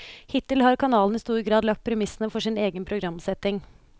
Hittil har kanalen i stor grad lagt premissene for sin egen programsetting.